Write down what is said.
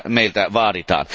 Sitä meiltä vaaditaan.